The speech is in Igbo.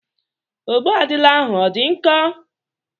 Ogbụadịla ahụ ọ dị nkọ?